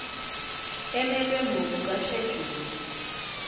emelwe ngokuka sheduli